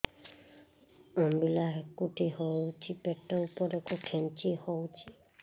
ଅମ୍ବିଳା ହେକୁଟୀ ହେଉଛି ପେଟ ଉପରକୁ ଖେଞ୍ଚି ହଉଚି